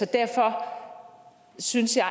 derfor synes jeg